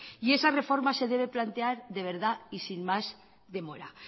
y esa reforma se debe plantear de verdad y sin más demora